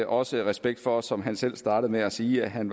også respekt for som han selv startede med at sige at han